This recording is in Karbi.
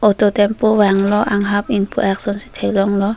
auto tempo vang lo anghap ingpu ak ason si thek long lo.